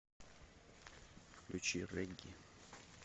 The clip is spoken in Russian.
включи регги